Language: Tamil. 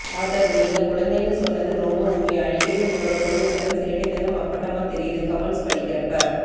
ஆதர்வ் நீங்க குழந்தைன்னு சொன்னது ரொம்ப உண்மை அடிக்கடி உங்களோட குழந்தைதனம் சேட்டைதனம் அப்பட்டமா தெரியுது கமெண்ட்ஸ் படிக்கறப்ப